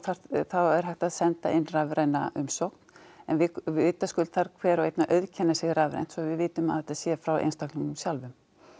er hægt að senda inn rafræna umsókn en vitaskuld þarf hver og einn að auðkenna sig rafrænt svo við vitum að þetta sé frá einstaklingnum sjálfum